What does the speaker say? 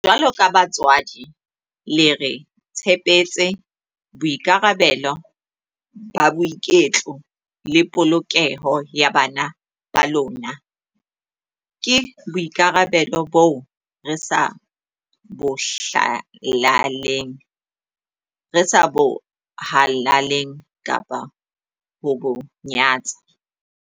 Jwaloka batswadi, le re tshepetse boikarabelo ba boiketlo le polokeho ya bana ba lona. Ke boikarabelo boo re sa bo halaleng kapa ho bo nyatsa.